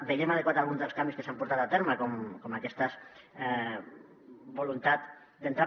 veiem adequats alguns dels canvis que s’han portat a terme com aquesta voluntat d’entrar